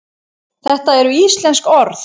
þetta eru íslensk orð